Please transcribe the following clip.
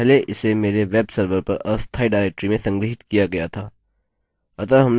अतः हमने यहाँ अपनी फाइल सफलतापूर्वक अपलोड कर दी है